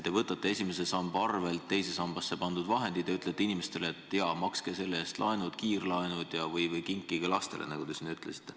Te võtate esimese samba arvel teise sambasse pandud vahendid ja ütlete inimestele, et jaa, makske sellega tavalised laenud või kiirlaenud või kinkige see lastele, nagu te siin ütlesite.